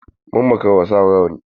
Mun makara wa sa rawanni.